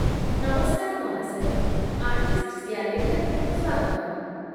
ନମସ୍କାର, ମହାଶୟ, ଆର୍ଟିଷ୍ଟ'ସ୍ ଗ୍ୟାଲେରିଆକୁ ସ୍ୱାଗତ